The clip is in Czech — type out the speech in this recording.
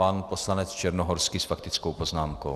Pan poslanec Černohorský s faktickou poznámkou.